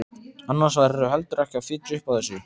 Annars værirðu heldur ekki að fitja upp á þessu.